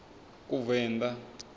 kuvenḓa